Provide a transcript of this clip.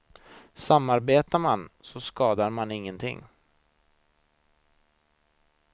Samarbetar man, så skadar man ingenting.